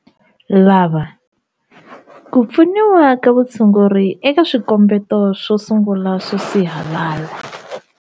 Lava- Ku pfuniwa ka vutshunguri eka swikombeto swo sungula swo sihalala.